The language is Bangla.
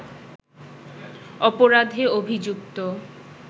অপরাধে অভিযুক্ত